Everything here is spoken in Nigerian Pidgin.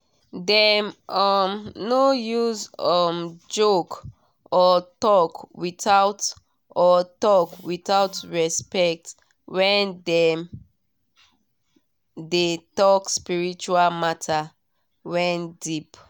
dem um no use um joke or talk without or talk without respect when dem de talk spiritual matter wen deep